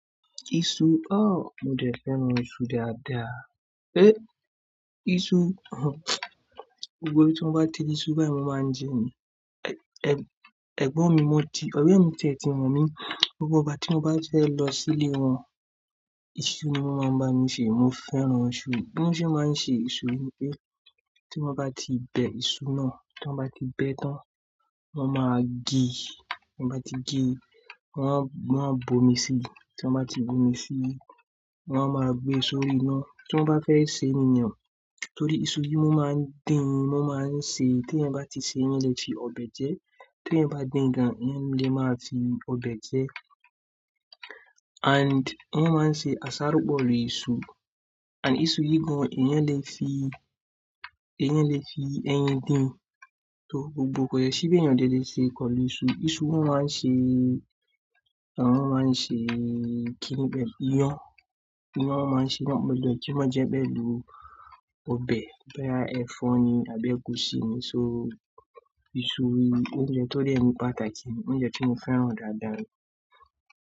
Iṣu, óò, mo dẹ̀ fẹ́ran iṣu dáadáa. É, iṣu, gbogbo ibi tí mo bá ti iṣu báyìí mo máa ń jẹ ni. Ẹ̀, ẹ̀gbọ́n mi, mo ti, ọ̀rẹ́ mi tẹ̀tí mọ́n mi, gbogbo ìgbà tí mo bá fẹ́ lọ sílé wọn, iṣu ni wọ́n máa ń bá mi ṣe. Mo fẹ́ran iṣu. Bí wọ́n ṣe máa ń ṣe iṣu ni pé, tí wọ́n bá ti bẹ iṣu náà, tí wọ́n bá ti bẹ ẹ́ tán, wọ́n máa gíí. Wọ́n bá ti gé e, wọ́n á, wọ́n á bomi sí i. Tí wọ́n bá ti bomi sí i, wọ́n á máa gbé e sórí iná. Tí wọ́n bá fẹ́ sè é nìyẹn, torí iṣu yìí ni wọ́n máa ń dín, wọ́n máa ń sè é. Tí ẹ̀yin bá ti sè é, ẹ̀yin lè fi ọbẹ̀ jẹẹ́. Tí ẹ̀yin bá dín gan, ẹ̀yin lè máa fi ọbẹ̀ jẹ ẹ́. And wọ́n máa ń ṣe àsáró pọ̀ lè iṣu and iṣu yìí gan, ẹ̀yin lè fi, ẹ̀yin lè fi ẹyin dín. To gbogbo kò yẹ ṣíbí èyàn délé ṣe kọ́ lè iṣu. Iṣu ni wọ́n máa ń ṣe, wọ́n máa ń ṣe kíni bẹ́ẹ̀, iyán. Iyán wọ́n máa ń ṣe náà, mo de tún má jẹ bí lọ́ ọbẹ̀ bóyá ẹ̀fọ́ ni àbí ègúsí ni. So iṣu ni oúnjẹ tó dẹ́ ni pàtàkì, oúnjẹ tí mo fẹ́ran dáadáa ni.